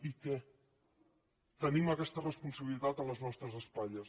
i què tenim aquesta responsabilitat a les nostres espatlles